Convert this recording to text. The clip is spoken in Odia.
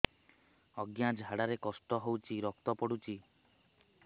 ଅଜ୍ଞା ଝାଡା ରେ କଷ୍ଟ ହଉଚି ରକ୍ତ ପଡୁଛି